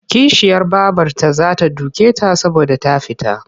Kishiyar babarta za ta duke ta saboda ta fita.